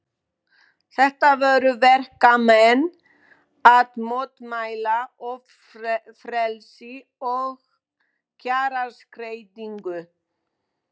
Þetta voru verkamenn að mótmæla ófrelsi og kjaraskerðingu.